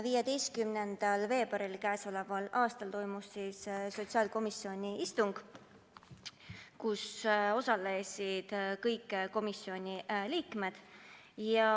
15. veebruaril k.a toimus sotsiaalkomisjoni istung, kus osalesid kõik komisjoni liikmed.